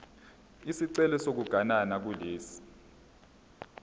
isicelo sokuganana kulesi